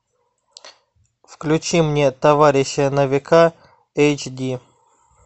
включи мне товарищи на века эйч ди